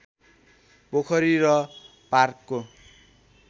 पोखरी र पार्कको